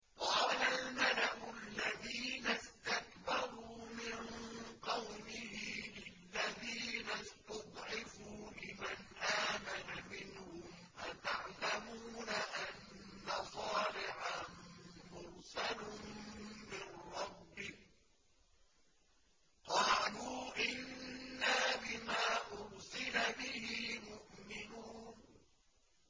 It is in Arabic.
قَالَ الْمَلَأُ الَّذِينَ اسْتَكْبَرُوا مِن قَوْمِهِ لِلَّذِينَ اسْتُضْعِفُوا لِمَنْ آمَنَ مِنْهُمْ أَتَعْلَمُونَ أَنَّ صَالِحًا مُّرْسَلٌ مِّن رَّبِّهِ ۚ قَالُوا إِنَّا بِمَا أُرْسِلَ بِهِ مُؤْمِنُونَ